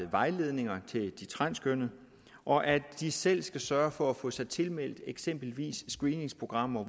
vejledninger til de transkønnede og at de selv skal sørge for at få sig tilmeldt eksempelvis screeningsprogrammer